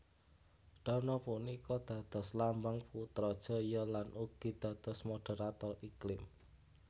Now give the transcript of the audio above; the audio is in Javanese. Danau punika dados lambang Putrajaya lan ugi dados moderarator iklim